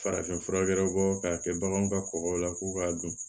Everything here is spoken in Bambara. Farafinfurakɛlaw k'a kɛ baganw ka kɔkɔw la ko k'a don